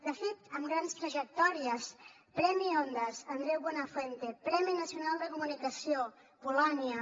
de fet amb grans trajectòries premi ondas andreu buenafuente premi nacional de comunicació polònia